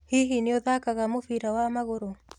Hihi nĩũthakaga mũbira wa magũrũ?